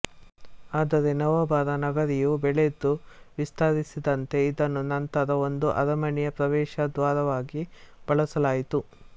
ಆದರೆ ನವಾಬರ ನಗರಿಯು ಬೆಳೆದು ವಿಸ್ತರಿಸಿದಂತೆ ಇದನ್ನು ನಂತರ ಒಂದು ಅರಮನೆಯ ಪ್ರವೇಶದ್ವಾರವಾಗಿ ಬಳಸಲಾಯಿತು